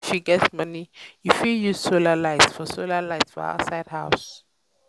if you um get um money you fit use solar light for solar light for outside house